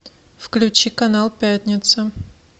включи канал пятница